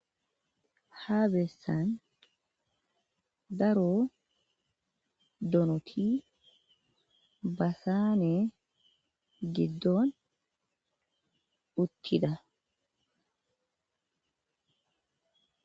Ha besan daro donoti basanen gidon utida.